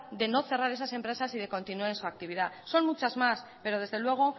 de no cerrar esas empresas y que continúen en su actividad son muchas más pero desde luego